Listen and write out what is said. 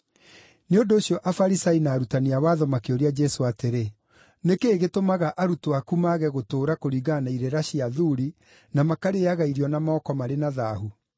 Nĩ ũndũ ũcio Afarisai na Arutani a watho makĩũria Jesũ atĩrĩ, “Nĩ kĩĩ gĩtũmaga arutwo aku mage gũtũũra kũringana na irĩra cia athuuri, na makarĩĩaga irio na moko marĩ na thaahu?”